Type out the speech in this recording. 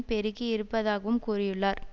பெருக்கியிருப்பதாகவும் கூறியுள்ளார்